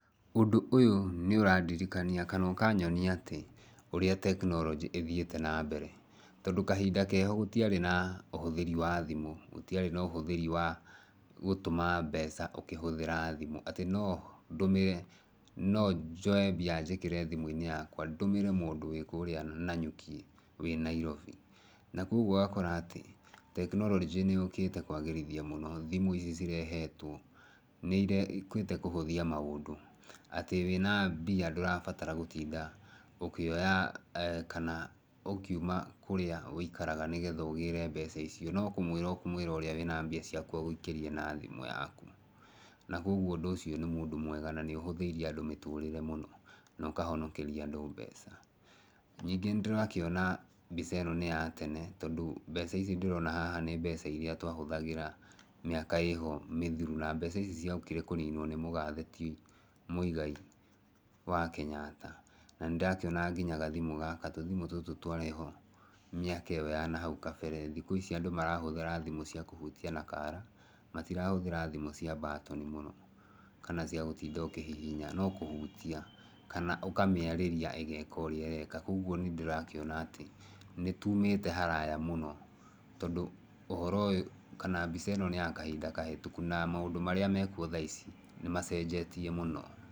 Ũndũ ũyũ nĩ ũrandirikania kana ũkanyonia atĩ, ũrĩa tekinoronjĩ ĩthiĩte na mbere. Tondũ kahinda keho gũtiarĩ na ũhũthĩri wa thimũ, gũtiarĩ na ũhũthĩri wa gũtũma mbeca ũkĩhũthĩra thimũ. Atĩ no ndũmĩre no njoe mbia njĩkĩre thimũ-inĩ yakwa ndũmĩre mũndũ wĩ kũũrĩa Nanyuki wĩ Nairobi. Na kũguo ũgakora atĩ, tekinoronjĩ nĩ yũkĩte kwagĩrithia mũno thimũ ici cirehetwo, nĩ yũkĩte kũhũthia maũndũ. Atĩ wĩna mbia ndũrabatara gũtinda ũkĩoya kana ũkiuma kũrĩa wĩikaraga, nĩgetha ũgĩre mbeca icio, no kũmũĩra ũkũmũĩra ũrĩa wĩna mbia ciaku agũikĩrie na thimũ yaku. Na koguo ũndũ ũcio nĩ mũndũ mwega na na nĩ ũhũthĩirie andũ mũtũrĩre mũno, na ũkahonokeria andũ mbeca. Ningĩ nĩ ndĩrakĩona mbica ĩno nĩ ya tene, tondũ mbeca ici ndĩrona haha nĩ mbeca irĩa twahũthagĩra mĩaka ĩho mĩthiru. Na mbeca ciokire kũninwo nĩ mũgathe ti Muigai wa Kenyatta. Na ndĩrakĩona nginya gathimũ gaka, tũthimũ tũtũ twarĩ ho mĩaka ĩyo ya nahau kabere. Thikũ ici andũ marahũthĩra thimũ cia kũhutia na kaara. Matirahũthĩra thimũ cia mbatoni mũno, kana cia gũtinda ũkĩhihinya, no kũhutia. Kana ũkamĩarĩria ĩgeka ũrĩa ĩreka. Koguo nĩ ndĩrakĩona atĩ, nĩ tumite haraya mũno, tondũ ũhoro ũyũ, kana mbica ĩno nĩ ya kahinda kahetũku na maũndũ marĩa me kuo thaa ici, nĩ macenjetie mũno.